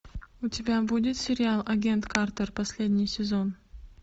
у тебя будет сериал агент картер последний сезон